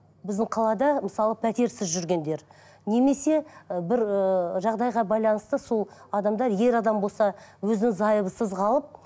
біздің қалада мысалы пәтерсіз жүргендер немесе ы бір ыыы жағдайға байланысты сол адамдар ер адам болса өзінің зайыбысыз қалып